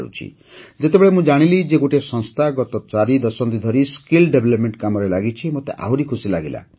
ଯେତେବେଳେ ମୁଁ ଜାଣିଲି ଯେ ଗୋଟିଏ ସଂସ୍ଥା ଗତ ଚାରିଦଶନ୍ଧି ଧରି ଦକ୍ଷତା ବିକାଶ କାମରେ ଲାଗିଛି ମୋତେ ଆହୁରି ଖୁସି ଲାଗିଲା